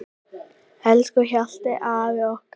Elsku Hjalli afi okkar.